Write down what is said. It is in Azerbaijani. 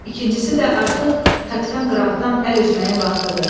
İkincisi də artıq kapitan Qrantdan əl üzməyin vaxtıdır.